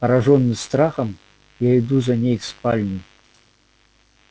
поражённый страхом я иду за ней в спальню